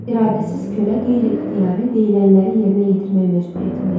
İradəsiz kölə qeyri-ixtiyari deyilənləri yerinə yetirməyə məcburiyyətində idi.